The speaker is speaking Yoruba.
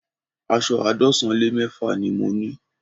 Aṣọ àádọ́sán lé mẹ́fà ni mo ní